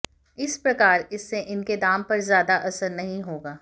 इस प्रकार इससे इनके दाम पर ज्यादा असर नहीं होगा